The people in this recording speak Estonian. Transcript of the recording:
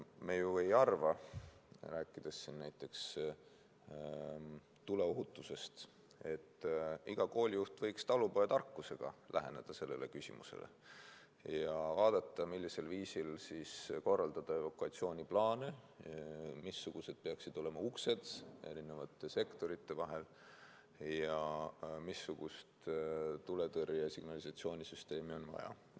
Me ju ei arva, rääkides näiteks tuleohutusest, et iga koolijuht võiks talupojatarkusega läheneda sellele küsimusele ja vaadata, millisel viisil korraldada evakuatsiooniplaane, missugused peaksid olema uksed erinevate sektorite vahel ja missugust tuletõrjesignalisatsiooni süsteemi on vaja.